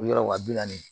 O yɔrɔ wa bi naani